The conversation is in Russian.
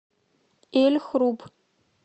эль хруб